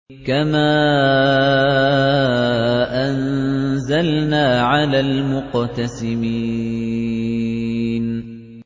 كَمَا أَنزَلْنَا عَلَى الْمُقْتَسِمِينَ